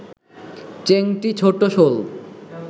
চেংটি, ছোট শোল